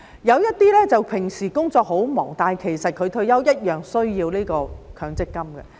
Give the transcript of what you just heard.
有些人平時工作很忙，但他退休時同樣需要強積金。